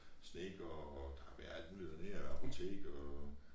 Snedker og der har været alt mulig dernede og et apotek og